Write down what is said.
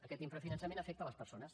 aquest infrafinançament afecta les persones